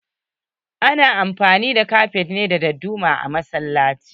Ana amfani ne da Kafet da dadduma a masallaci.